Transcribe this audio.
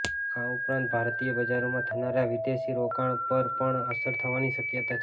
આ ઉપરાંત ભારતીય બજારોમાં થનારા વિદેશી રોકાણ પર પણ અસર થવાની શક્યતા છે